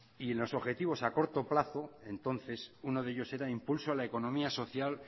y en los objetivos a corto plazo entonces uno de ellos era impulso a la economía social